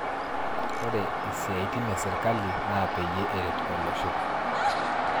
Ore isiaitin esirkali naa peyie eret olosho